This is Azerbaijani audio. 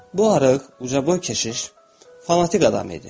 Bu arıq, ucaboy keşiş fanatik adam idi.